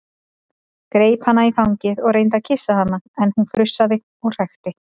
Greip hana í fangið og reyndi að kyssa hana en hún frussaði og hrækti.